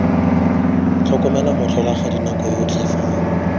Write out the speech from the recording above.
tlhokomela motlholagadi nako yotlhe fa